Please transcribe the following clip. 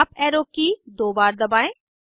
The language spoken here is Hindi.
अप एरो की दो बार दबाएं